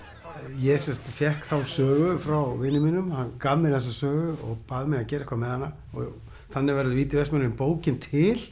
ég sem sagt fékk þá sögu frá vini mínum hann gaf mér þessa sögu og bað mig um að gera eitthvað með hana þannig verður víti í Vestmannaeyjum bókin til